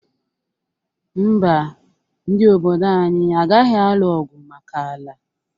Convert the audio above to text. Mba, ndị obodo anyị agaghị alụ ọgwụ maka ala?